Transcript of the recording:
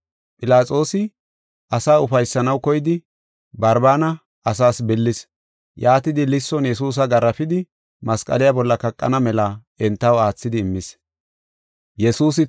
Philaxoosi asaa ufaysanaw koyidi, Barbaana billis. Yaatidi, lisson Yesuusa garaafisidi, masqaliya bolla kaqana mela entaw aathidi immis.